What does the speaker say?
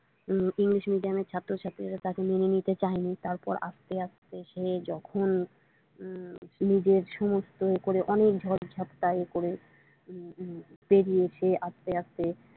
English মিডিয়ামের ছাত্র ছাত্রিরা তাকে মেনে নিতে চায়নি তারপর আস্তে আস্তে সে যখন নিজের সমস্ত করে অনেক ঝড় ঝাঁপটায় করে বেড়িয়েছে আস্তে আস্তে।